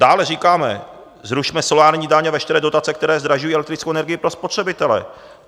Dále říkáme: zrušme solární daň a veškeré dotace, které zdražují elektrickou energii pro spotřebitele.